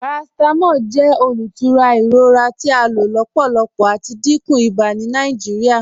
Paracetamol jẹ olútúrà iròra tí a ló lọ́pọ̀lọ́pọ̀ àti ìdíkún ìbà ni Nàìjíríà.